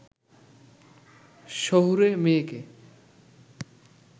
শহুরে মেয়েকে